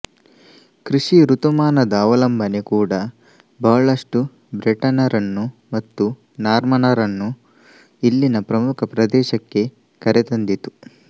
ಕೃಷಿ ಋತುಮಾನದ ಅವಲಂಬನೆ ಕೂಡಾ ಬಹಳಷ್ಟು ಬ್ರೆಟೆನ್ ರನ್ನು ಮತ್ತು ನಾರ್ಮನರನ್ನು ಇಲ್ಲಿನ ಪ್ರಮುಖ ಪ್ರದೇಶಕ್ಕೆ ಕರೆತಂದಿತು